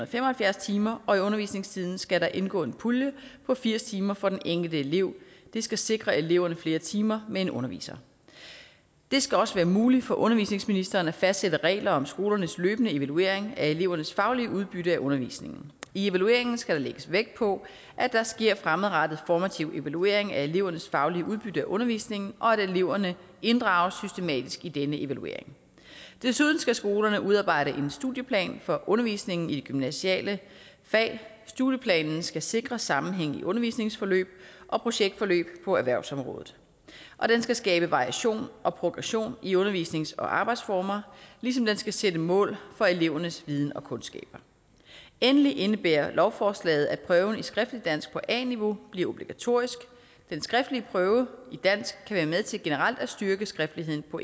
fem og halvfjerds timer og i undervisningstiden skal der indgå en pulje på firs timer for den enkelte elev det skal sikre eleverne flere timer med en underviser det skal også være muligt for undervisningsministeren at fastsætte regler om skolernes løbende evaluering af elevernes faglige udbytte af undervisningen i evalueringen skal der lægges vægt på at der sker en fremadrettet formativ evaluering af elevernes faglige udbytte af undervisningen og at eleverne inddrages systematisk i den evaluering desuden skal skolerne udarbejde en studieplan for undervisningen i gymnasiale fag studieplanen skal sikre sammenhængen i undervisningsforløb og projektforløb på erhvervsområdet og den skal skabe variation og progression i undervisnings og arbejdsformer ligesom den skal sætte mål for elevernes viden og kundskaber endelig indebærer lovforslaget at prøven i skriftligt dansk på a niveau bliver obligatorisk den skriftlige prøve i dansk kan være med til generelt at styrke skriftligheden på